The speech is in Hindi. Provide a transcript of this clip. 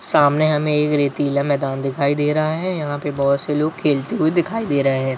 सामने हमे एक रेतीला मैदान दिखाई दे रहा है यहाँ पे बहुत से लोग खेलते हुए दिखाई दे रहे है।